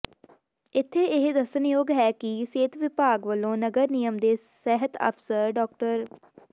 ਇਥੇ ਇਹ ਦੱਸਣਯੋਗ ਹੈ ਕਿ ਸਿਹਤ ਵਿਭਾਗ ਵੱਲੋਂ ਨਗਰ ਨਿਗਮ ਦੇ ਸਿਹਤ ਅਫਸਰ ਡਾ